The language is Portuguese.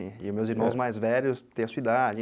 E os meus irmãos mais velhos têm a sua idade.